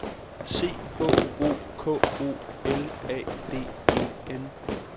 C H O K O L A D E N